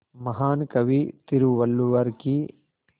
महान कवि तिरुवल्लुवर की